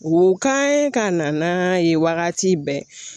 O ka ye ka na n'a ye wagati bɛɛ